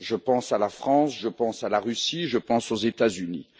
Je pense à la France, je pense à la Russie, je pense aux États Unis.